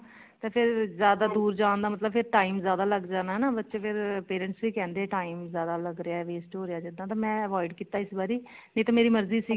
ਤੇ ਫ਼ੇਰ ਜਿਆਦਾ ਦੂਰ ਜਾਣ ਦਾ ਮਤਲਬ ਫ਼ੇਰ time ਜਿਆਦਾ ਲੱਗ ਜਾਣਾ ਨਾ ਬੱਚੇ ਫ਼ੇਰ parents ਵੀ ਕਹਿੰਦੇ time ਜਿਆਦਾ ਲੱਗ ਰਿਹਾ waste ਹੋ ਰਿਹਾ ਜਿੱਦਾਂ ਤੇ ਮੈਂ avoid ਕੀਤਾ ਨਹੀਂ ਤੇ ਮੇਰੀ ਮਰਜ਼ੀ ਸੀਗੀ